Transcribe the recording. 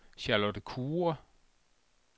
Charlotte Kure